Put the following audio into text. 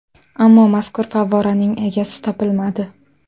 Ammo mazkur favvoraning egasi topilmadi.